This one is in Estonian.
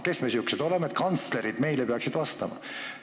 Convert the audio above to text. Kes me siuksed oleme, et kantslerid meile peaksid vastama?